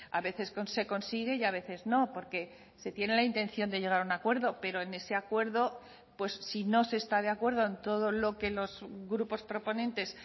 a veces se consigue y a veces no porque se tiene la intención de llegar a un acuerdo pero en ese acuerdo pues si no se está de acuerdo en todo lo que los grupos proponentes